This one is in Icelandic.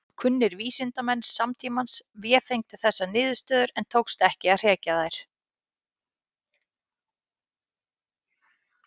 Kunnir vísindamenn samtímans vefengdu þessar niðurstöður en tókst ekki að hrekja þær.